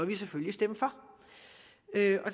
vi selvfølgelig stemme for det